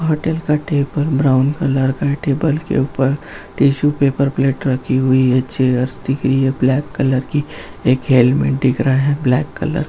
brown colour table के ऊपर tissue paper plate रखी हुई है चेयर्स दिख रही-- ब्लैक कलर की एक हैलमेट दिख रही है ब्लैक --